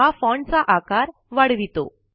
हा फॉन्ट चा आकार वाढवितो